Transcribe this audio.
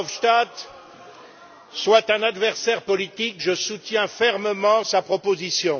Verhofstadt soit un adversaire politique, je soutiens fermement sa proposition.